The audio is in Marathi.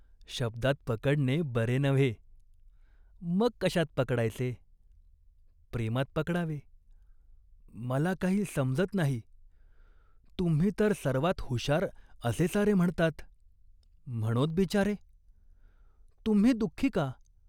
"शब्दात पकडणे बरे नव्हे." "मग कशात पकडायचे ?" "प्रेमात पकडावे." "मला काही समजत नाही." "तुम्ही तर सर्वात हुशार असे सारे म्हणतात." "म्हणोत बिचारे," "तुम्ही दुख्खी का ?